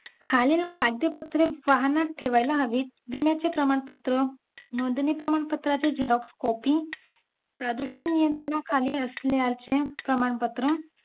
खालील कागदी पत्रे वाहनात ठेवायला हवीत विम्याचे प्रमाणपत्र नोंदणी प्रमाणपत्राचे xerox copy प्रदूषण नियंत्रणाखाली असल्याचे प्रमाणपत्र